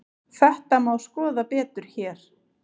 Þetta má skoða betur hér.